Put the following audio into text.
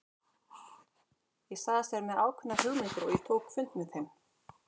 Ég sagðist vera með ákveðnar hugmyndir og ég tók fund með þeim.